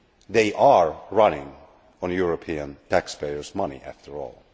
they are running on European taxpayers' money, after all.